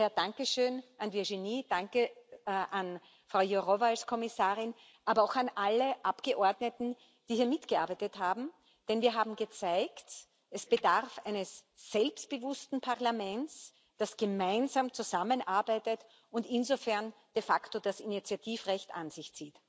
Daher dankeschön an Virginie, danke an Frau Jourová als Kommissarin, aber auch an alle Abgeordneten, die hier mitgearbeitet haben, denn wir haben gezeigt Es bedarf eines selbstbewussten Parlaments, das zusammenarbeitet und insofern de facto das Initiativrecht an sich zieht.